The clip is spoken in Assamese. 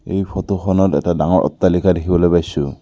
এই ফটোখনত এটা ডাঙৰ অট্টালিকা দেখিবলৈ পাইছোঁ।